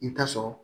I bɛ taa sɔrɔ